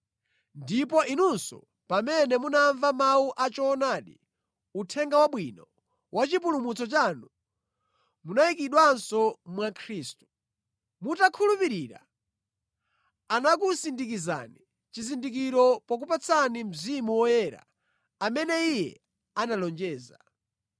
Ndipo inunso pamene munamva mawu a choonadi, Uthenga Wabwino wa chipulumutso chanu, munayikidwanso mwa Khristu. Mutakhulupirira, anakusindikizani chizindikiro pokupatsani Mzimu Woyera amene Iye analonjeza.